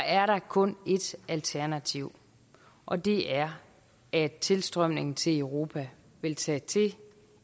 er der kun ét alternativ og det er at tilstrømningen til europa vil tage til